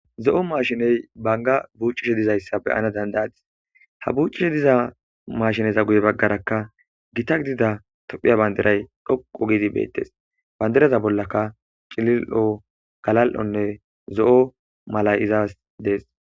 zo7o mashiney banga buccishe dizayssa beyana dandayadis ha buuccishe diza mashineza guye baggarakka gita gidida tophiya bandiray dhoqo gidi beettes bandiraza bollaka cilil7o galal7onne zo7o malay izaas dees